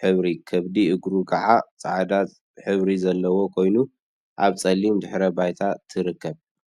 ሕብሪ ከብዲ እግሩ ከዓ ፃዕዳ ሕብሪ ዘለዎ ኮይኑ፤ አብ ፀሊም ድሕረ ባይታ ትርከብ፡፡